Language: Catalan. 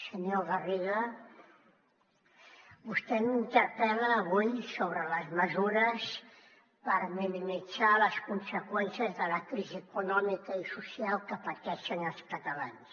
senyor garriga vostè m’interpel·la avui sobre les mesures per minimitzar les conseqüències de la crisi econòmica i social que pateixen els catalans